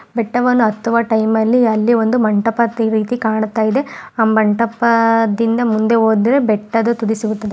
ಬೆಟ್ಟವನ್ನು ಹತ್ತುವ ಟೈಮ್ ಅಲ್ಲಿ ಒಂದು ಮಂಟಪದ ತೀರ ಕಾಣತ್ತಿದೆ ಆ ಮಂಟಪದಿಂದ ಮುಂದೆ ಹೋದ್ರೆ ಬೆಟ್ಟದ ತುದಿ ಸಿಗುತ್ತದೆ --